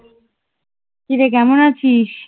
কিরে কেমন আছিস?